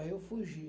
Aí eu fugi.